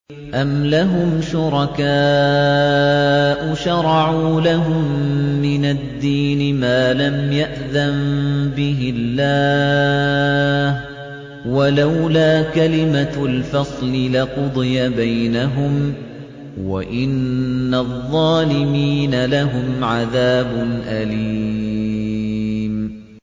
أَمْ لَهُمْ شُرَكَاءُ شَرَعُوا لَهُم مِّنَ الدِّينِ مَا لَمْ يَأْذَن بِهِ اللَّهُ ۚ وَلَوْلَا كَلِمَةُ الْفَصْلِ لَقُضِيَ بَيْنَهُمْ ۗ وَإِنَّ الظَّالِمِينَ لَهُمْ عَذَابٌ أَلِيمٌ